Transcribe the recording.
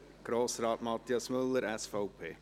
Grossrat Mathias Müller, SVP.